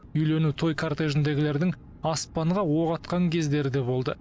үйлену той кортежіндегілердің аспанға оқ атқан кездері де болды